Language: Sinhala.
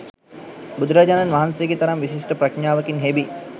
බුදුරජාණන් වහන්සේගේ තරම් විශිෂ්ට ප්‍රඥාවකින් හෙබි